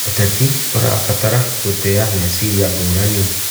Ũteti ũrabatara gũtĩa meciria ngũrani.